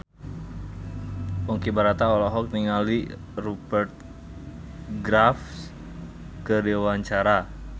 Ponky Brata olohok ningali Rupert Graves keur diwawancara